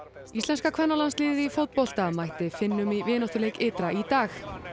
íslenska kvennalandsliðið í fótbolta mætti Finnum í vináttuleik ytra í dag